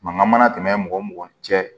Mankan mana tɛmɛ mɔgɔ mɔgɔ cɛ